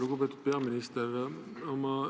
Lugupeetud peaminister!